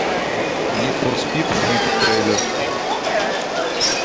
нид фор спид хит трейлер